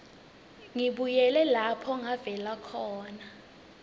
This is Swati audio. ngibuyele lapho ngavela